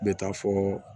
N bɛ taa fɔ